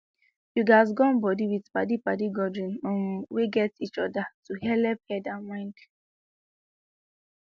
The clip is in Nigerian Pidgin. you gatz gum body with padi padi gathering um wey gat each other to helep head and mind